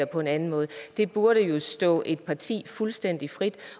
på en anden måde det burde jo stå et parti fuldstændig frit